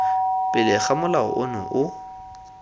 pele ga molao ono o